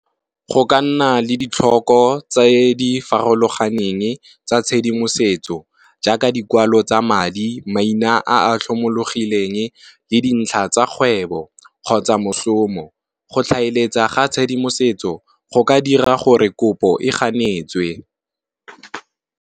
Go ka nna le ditlhoko tse di farologaneng tsa tshedimosetso, jaaka dikwalo tsa madi, maina a tlhomologileng le dintlha tsa kgwebo kgotsa moshomo. Go tlhaeletsana ga tshedimosetso go ka dira gore kopo e ganetswe.